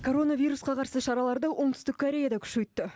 коронавирусқа қарсы шараларды оңтүстік корея да күшейтті